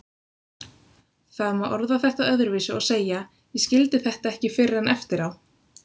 Það má orða þetta öðruvísi og segja: Ég skildi þetta ekki fyrr en eftir á.